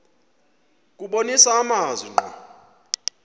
kubonisa amazwi ngqo